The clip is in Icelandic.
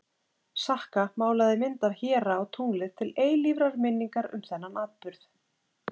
sakka málaði mynd af héra á tunglið til eilífrar minningar um þennan atburð